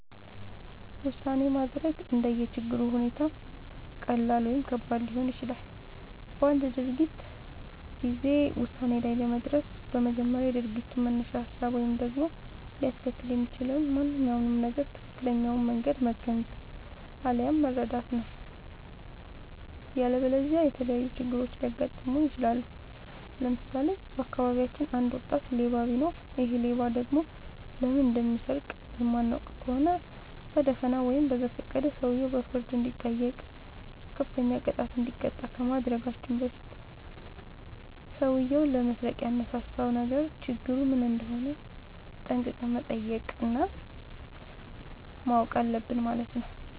ውሳኔ ማድረግ እንደየ ችግሩ ሁኔታ ቀላል ወይም ከባድ ሊሆን ይችላል። በአንድ ድርጊት ጊዜ ውሳኔ ላይ ለመድረስ በመጀመሪያ የድርጊቱን መነሻ ሀሳብ ወይም ደግሞ ሊያስከትል የሚችለውን ማንኛውም ነገር ትክክለኛውን መንገድ መገንዘብ፣ አለያም መረዳት ነው።. ያለበለዚያ የተለያዩ ችግሮች ሊያጋጥሙን ይችላሉ። ለምሳሌ:- በአካባቢያችን አንድ ወጣት ሌባ ቢኖር ይሔ ሌባ ደግሞ ለምን እንደሚሰርቅ የማናውቅ ከሆነ በደፋናው ወይም በዘፈቀደ ሰውየው በፍርድ እንዲጠይቅ፤ ከፍተኛ ቅጣት እንዲቀጣ ከማድረጋችን በፊት ሠውዬው ለመስረቅ ያነሳሳውን ነገር ችግሩ ምን እንደሆነ ጠንቅቀን መጠየቅ እና ማወቅ አለብን ማለት ነው።